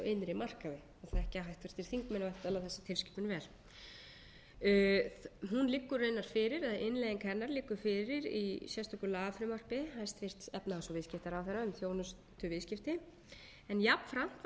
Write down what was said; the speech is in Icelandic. innri markaði og þekkja háttvirtir þingmenn væntanlega þessa tilskipun vel hún liggur raunar fyrir eða innleiðing hennar liggur fyrir í sérstöku lagafrumvarpi hæstvirtur efnahags og viðskiptaráðherra um þjónustuviðskipti en jafnframt var